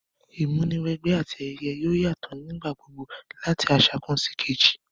Ìmúniwẹgbẹ́ àti ayẹyẹ yoo yatọ nígbà gbogbo lati aṣa kan síkejì